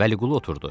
Vəliqulu oturdu.